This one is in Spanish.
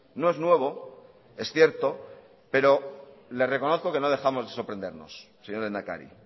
no es nuevo es cierto pero le reconozco que no dejamos de sorprendernos señor lehendakari